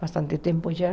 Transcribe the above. Bastante tempo já.